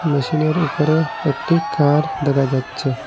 মেশিনের উপরে একটি কার দেখা যাচ্ছে।